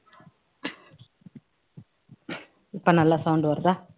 இப்போ நல்லா sound வருதா